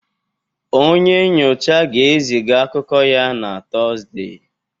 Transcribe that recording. Onye nyocha ga-eziga akụkọ ya na Tọzdee